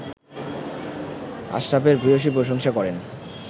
আশরাফের ভূয়সী প্রশংসা করেন